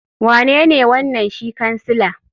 Wanene wanan shi kansila?